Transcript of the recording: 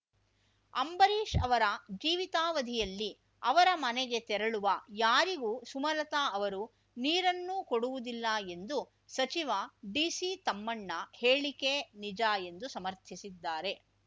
ಅಂಬರೀಶ್ ಅವರ ಜೀವಿತಾವಧಿಯಲ್ಲಿ ಅವರ ಮನೆಗೆ ತೆರಳುವ ಯಾರಿಗೂ ಸುಮಲತಾ ಅವರು ನೀರನ್ನು ಕೊಡುವುದಿಲ್ಲ ಎಂದು ಸಚಿವ ಡಿಸಿ ತಮ್ಮಣ್ಣ ಹೇಳಿಕೆ ನಿಜ ಎಂದು ಸಮರ್ಥಿಸಿದ್ದಾರೆ